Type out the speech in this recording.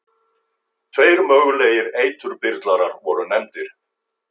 Tveir mögulegir eiturbyrlarar voru nefndir.